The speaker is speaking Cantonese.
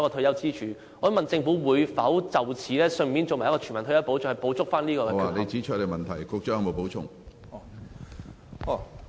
我想問政府會否就此推出全民退休保障計劃，從而補足有關缺口呢？